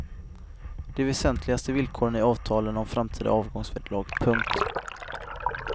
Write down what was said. De väsentligaste villkoren i avtalen om framtida avgångsvederlag. punkt